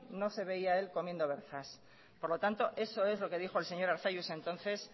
no se veía él comiendo berzas por lo tanto eso es lo que dijo el señor arzallus entonces